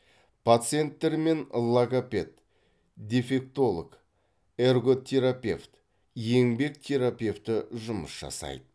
пациенттермен логопед дефектолог эрготерапевт еңбек терапевті жұмыс жасайды